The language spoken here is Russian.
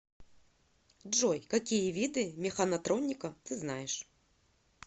джой какие виды механотроника ты знаешь